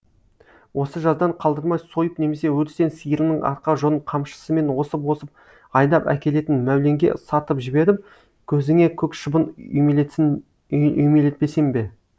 осы жаздан қалдырмай сойып немесе өрістен сиырының арқа жонын қамшысымен осып осып айдап әкелетін мәуленге сатып жіберіп көзіңе көк шыбын үймелетпесем бе